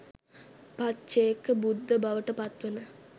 පච්චේකබුද්ධ බවට පත්වන